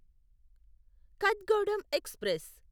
Kathgodam express